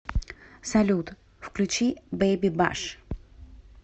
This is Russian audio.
салют включи бэби баш